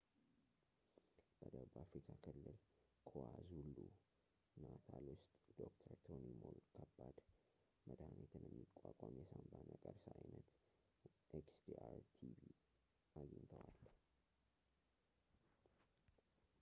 በደቡብ አፍሪካ ክልል kwazulu-natal ውስጥ ዶ/ር ቶኒ ሞል ከባድ፣ መድሃኒትን የሚቋቋም የሳንባ ነቀርሳ ዓይነት xdr-tb አግኝተዋል